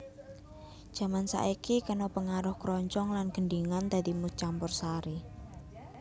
Jaman saiki kena pangaruh kroncong lan gendhingan dadi musik campursari